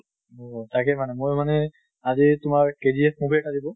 আহ তাকে মানে মই মানে আজি তোমাৰ KGF movie এটা দিব।